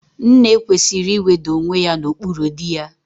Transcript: Nne kwesịrị iweda onwe ya n'okpuru dị ya